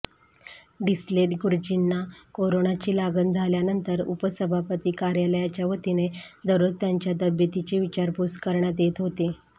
डिसले गुरुजींना कोरोनाची लागण झाल्यानंतर उपसभापती कार्यालयाच्या वतीने दररोज त्यांच्या तब्येतीची विचारपूस करण्यात येत होती